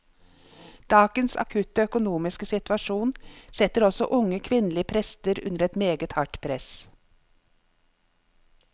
Dagens akutte økonomiske situasjon setter også unge kvinnelige prester under et meget hardt press.